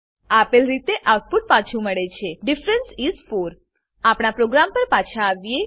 આપેલ રીતે આઉટપુટ પાછું મળે છે ડિફરન્સ ઇસ 4 આપણા પ્રોગ્રામ પર પાછા આવીએ